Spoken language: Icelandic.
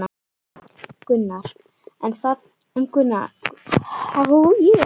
Gunnar, en þarna skorti tilfinnanlega mælingar.